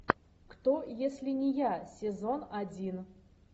кто если не я сезон один